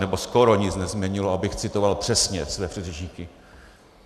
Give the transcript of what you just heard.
Nebo skoro nic nezměnilo, abych citoval přesně své předřečníky.